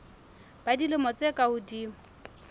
ba dilemo tse ka hodimo